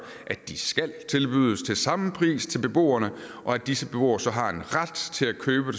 at de skal tilbydes til samme pris til beboerne og at disse beboere så har en ret til at købe